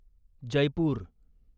Jaipur